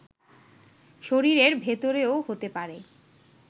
শরীরের ভেতরেও হতে পারে